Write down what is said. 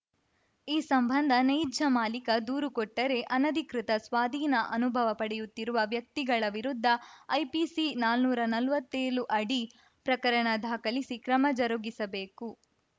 ಈ ಸಂಬಂಧ ನೈಜ ಮಾಲಿಕ ದೂರು ಕೊಟ್ಟರೆ ಅನಧಿಕೃತ ಸ್ವಾಧೀನ ಅನುಭವ ಪಡೆಯುತ್ತಿರುವ ವ್ಯಕ್ತಿಗಳ ವಿರುದ್ಧ ಐಪಿಸಿ ನಾನುರಾ ನಲ್ವತ್ತೇಳು ಅಡಿ ಪ್ರಕರಣ ದಾಖಲಿಸಿ ಕ್ರಮ ಜರುಗಿಸಬೇಕು